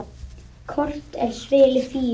Kort er svili Fíu.